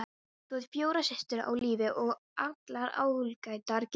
Þú átt fjórar systur á lífi og allar ágætlega giftar.